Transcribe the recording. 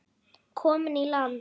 Komin í land.